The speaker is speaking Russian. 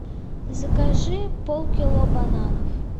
закажи полкило бананов